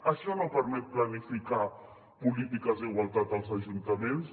això no permet planificar polítiques d’igualtat als ajuntaments